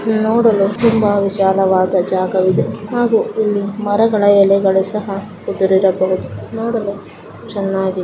ಇದು ನೋಡಲು ತುಂಬಾ ವಿಶಾಲವಾದ ಜಾಗವಿದೆ ಹಾಗೆ ಇಲ್ಲಿ ಮರಗಳ ಎಲೆಗಳು ಸಹ ನೋಡಲು ಚೆನ್ನಾಗಿದೆ .